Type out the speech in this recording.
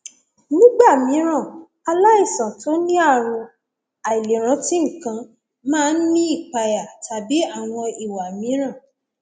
nígbà mìíràn aláìsàn tó ní ààrùn àìlèrántí nǹkan máa ń ní ìpayà tàbí àwọn ìwà mìíràn